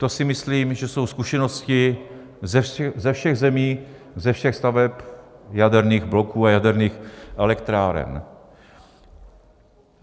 To si myslím, že jsou zkušenosti ze všech zemí, ze všech staveb jaderných bloků a jaderných elektráren.